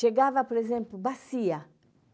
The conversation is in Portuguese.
Chegava, por exemplo, bacia.